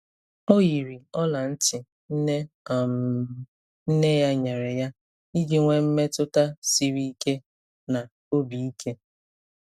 O yiri ọla ntị nne um nne ya nyere ya iji nwee mmetụta siri ike na obi ike.